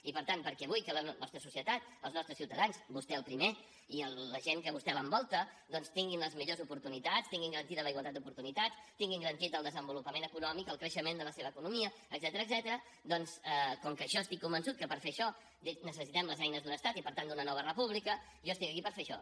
i per tant perquè vull que la nostra societat els nostres ciutadans vostè el primer i la gent que a vostè l’envolta doncs tinguin les millors oportunitats tinguin garantida la igualtat d’oportunitats tinguin garantits el desenvolupament econòmic el creixement de la seva economia etcètera com que estic convençut que per fer això necessitem les eines d’un estat i per tant d’una nova república jo estic aquí per fer això